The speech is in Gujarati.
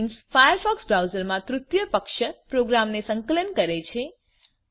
પ્લગઇન્સ ફાયરફોકસ બ્રાઉઝર માં તૃતીય પક્ષ પ્રોગ્રામને સંકલન કરે છે